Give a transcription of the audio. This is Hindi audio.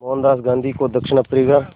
मोहनदास गांधी को दक्षिण अफ्रीका